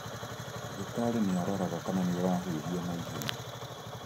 Ndagĩtarĩ nĩ aroraga kana nĩũrahuhia naihenya.